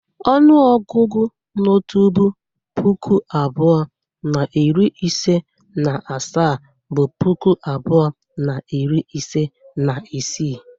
Onuogugu no tupu puku abuo na iri ise na asaa bụ puku abuo na iri ise na isii.